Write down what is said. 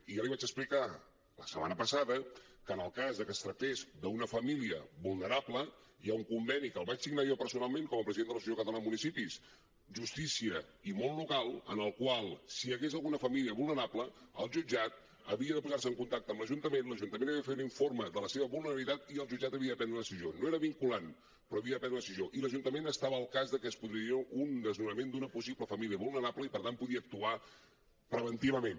i ja li vaig explicar la setmana passada que en el cas de que es tractés d’una família vulnerable hi ha un conveni que el vaig signar jo personalment com a president de l’associació catalana de municipis justícia i món local amb el qual si hi hagués alguna família vulnerable el jutjat havia de posar se en contacte amb l’ajuntament l’ajuntament havia de fer un informe de la seva vulnerabilitat i el jutjat havia de prendre una decisió no era vinculant però havia de prendre una decisió i l’ajuntament estava al cas que es produiria un desnonament d’una possible família vulnerable i per tant podia actuar preventivament